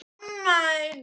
Elsku Lilja mín.